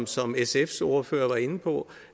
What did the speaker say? som sfs ordfører var inde på